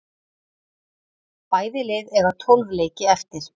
Bæði lið eiga tólf leiki eftir